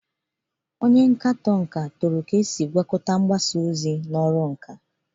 Onye nkatọ nka toro ka eji mgbasa ozi agwakọta eme ihe n'ọrụ nka.